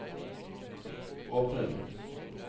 åpne den